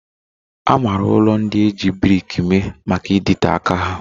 A maara ụlọ ndị e ji brik mee maka ịdịte aka ha